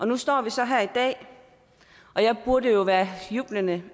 nu står vi så her i dag og jeg burde jo være jublende